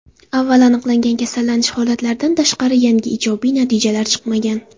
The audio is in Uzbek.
Avval aniqlangan kasallanish holatlaridan tashqari, yangi ijobiy natijalar chiqmagan.